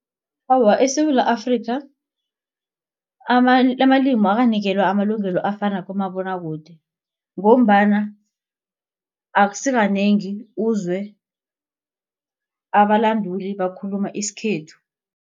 Awa, eSewula Afrika amalimi akakanikelwa amalungelo afana kumabonwakude ngombana akusikanengi uzwe abalanduli bakhuluma isikhethu.